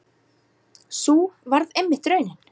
Sú varð einmitt raunin.